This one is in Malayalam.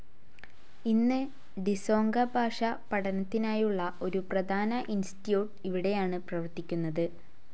ഇന്ന് ഡിസോങ്ക ഭാഷ പഠനത്തിനായുള്ള ഒരു പ്രധാന ഇൻസ്റ്റിറ്റ്യൂട്ട്‌ ഇവിടെയാണ് പ്രവർത്തിക്കുന്നത്.